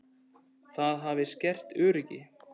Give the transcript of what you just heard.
Það hafi skert öryggi.